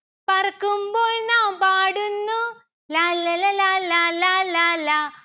പറക്കുമ്പോൾ നാം പാടുന്നു ലാല്ലല ലാലാ ലാലാ ലാ